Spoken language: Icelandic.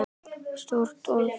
Stórt orð.